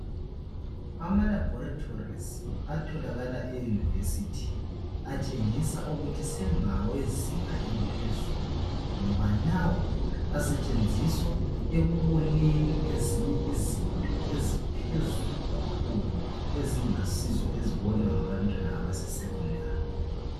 Amalabhorisi atholakala emaYunivesithi atshengisa ukuthi sengawezinga eliphezulu ngoba lawa asetshenziswa ekuboneni ezinye izinto eziphezulu kakhulu ezingasizo ezibona ngabantwana besecondary.